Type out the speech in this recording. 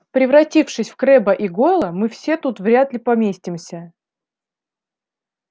превратившись в крэбба и гойла мы все тут вряд ли поместимся